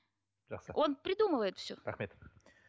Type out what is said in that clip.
жақсы он придумывает все рахмет